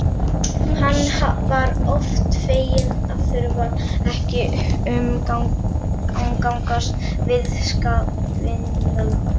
Hann var oft feginn að þurfa ekki að umgangast viðskiptavinina.